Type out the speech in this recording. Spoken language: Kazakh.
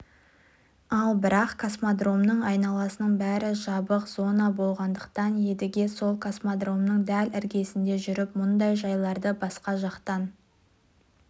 ал бірақ космодромның айналасының бәрі жабық зона болғандықтан едіге сол космодромның дәл іргесінде жүріп мұндай жайларды басқа жақтан